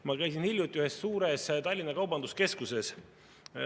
Ma käisin hiljuti ühes suures Tallinna kaubanduskeskuses.